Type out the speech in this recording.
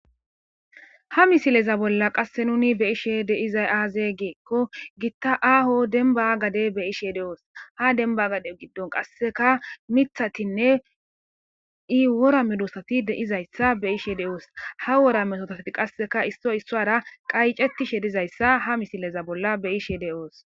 Ha misileza bolla qasse nuni be ishe deizay aazegeekko gitta aho demba gade be ishe de'oos ha demba gade giddon qasseka mithatinne i wora medosati deizayssa be ishe de'oos ha wora metotati qasseka issoy issuara qaycetishe dizayssa ha misileza bolla beyishe de'oos